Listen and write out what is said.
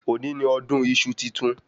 Òní ni ọdún iṣu titun